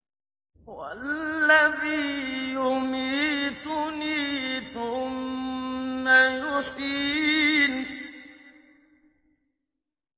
وَالَّذِي يُمِيتُنِي ثُمَّ يُحْيِينِ